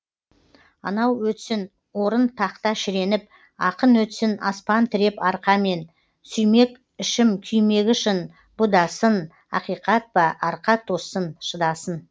анау өтсін орын тақта шіреніп ақын өтсін аспан тіреп арқамен сүймек ішім күймегі шын бұ да сын ақиқат па арқа тоссын шыдасын